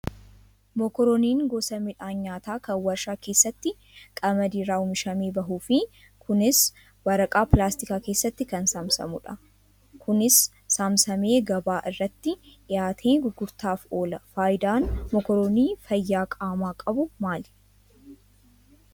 Mokorooniin gosa midhaan nyaataa kan waarshaa keessatti qamadii irraa oomishamee bahuu fi kunis waraqaa pilaastikaa keessatti kan saamsamamudha. Kunis saamsamamee gabaa irratti dhiyaatee gurguraaf oola. Fayidaan mokorooniin fayyaa qaamaa qabu maali?